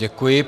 Děkuji.